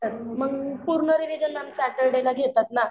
मग पूर्ण revision ma'am सॅटर्डेला घेतात ना.